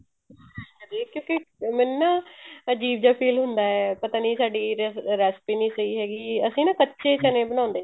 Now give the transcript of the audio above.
ਕਿਉਂਕਿ ਮੈਨੂੰ ਨਾ ਅਜੀਬ ਜਾ feel ਹੁੰਦਾ ਹੈ ਪਤਾ ਨੀ ਸਾਡੀ recipe ਨੀ ਸਹੀ ਹੈਗੀ ਅਸੀਂ ਨਾ ਕੱਚੇ ਚਨੇ ਬਣਾਉਂਦੇ